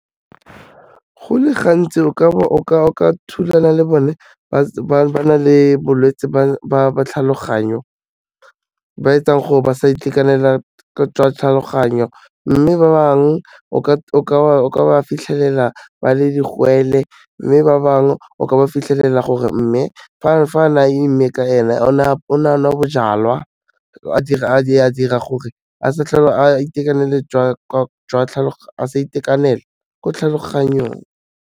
Go le gantsi o ka thulana le bone ba na le bolwetse ba tlhaloganyo ba etsang gore ba sa itekanela jwa tlhaloganyo, mme ba bangwe o ka ba fitlhelela ba le digwele mme ba bangwe o ka ba fitlhelela gore mme fa na imme ka ene, o ne a nwa bojalwa a dira gore a sa tlhole a sa itekanela ko tlhaloganyong.